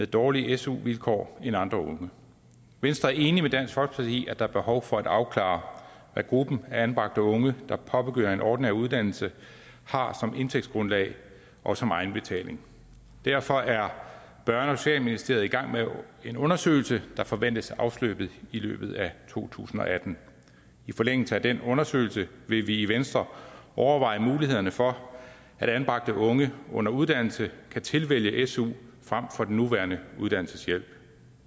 dårligere su vilkår end andre unge venstre er enig med dansk folkeparti i at der er behov for at afklare hvad gruppen af anbragte unge der påbegynder en ordinær uddannelse har som indtægtsgrundlag og som egenbetaling derfor er børne og socialministeriet i gang med en undersøgelse der forventes afsluttet i løbet af to tusind og atten i forlængelse af den undersøgelse vil vi i venstre overveje mulighederne for at anbragte unge under uddannelse kan tilvælge su frem for den nuværende uddannelseshjælp